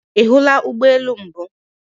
Ihula Ugbo elu mbu?